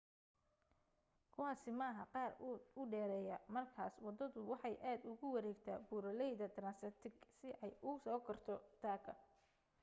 kuwaasi maaha qaar aad u dheereeya markaas waddadu waxay aad ugu wareegtaa buuraleyda transantarctic si ay u soo korto taagga